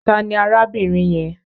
Ta ni arábìnrin yẹn?